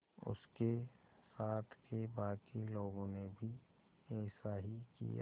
उसके साथ के बाकी लोगों ने भी ऐसा ही किया